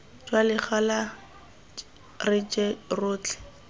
jwa legala re je rotlhe